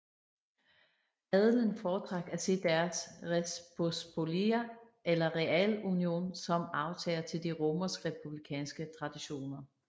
Adelen foretrak at se deres Rzeczpospolita eller realunion som arvtager til de romersk republikanske traditioner